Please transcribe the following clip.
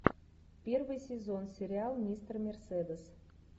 первый сезон сериал мистер мерседес